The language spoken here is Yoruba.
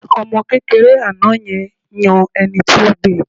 Ọmọ kékeré àná yẹn yan ẹni tó gbe